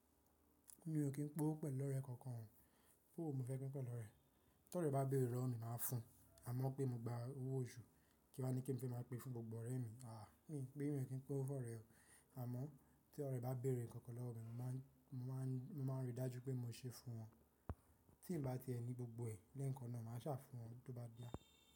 Mi ò ní kín pin ọ́wo pẹ̀lú ọ̀rẹ́ kankan. Owò wo ní mofẹ́ pín pẹ̀lú ọ̀rẹ́. Tí ọ̀rẹ́ bá béèrè lowo mi, màá fún ùn. Àmọ́ pé mo gba owó oṣù, kí wá ní kí n fẹ́ máa pe fún gbogbo ọ̀rẹ́ mi? Àáàh! Mi pin, mi ò kín pín ọ́wo fún ọ̀rẹ́. Àmọ́ tí ọ̀rẹ́ bá béèrè nǹkankan lọ́wọ́ mi, mo máà ń rí i dájú pé mo ń se fún wọn. Tí n bá ti ẹni gbogbo ẹ lẹ́ẹ̀kan náà, màá sà fún wọn bí ó bá yáa.